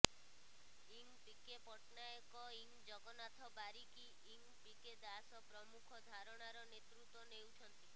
ଇଂ ପିକେ ପଟ୍ଟନାୟକ ଇଂ ଜଗନ୍ନାଥ ବାରିକି ଇଂ ପିକେ ଦାସ ପ୍ରମୁଖ ଧାରଣାର ନେତୃତ୍ବ ନେଉଛନ୍ତି